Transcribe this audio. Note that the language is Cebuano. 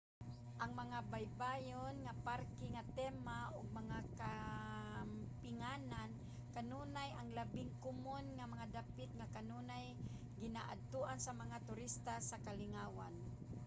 ang mga baybayon mga parke nga tema ug mga kampinganan kanunay ang labing komon nga mga dapit nga kanunay ginaadtoan sa mga turista sa kalingawan